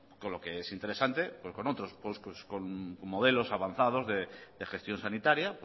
con lo que es interesante pues con otros modelos avanzados de gestión sanitaria